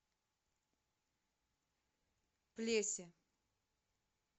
плесе